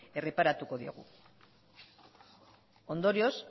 erreparatuko diegu ondorioz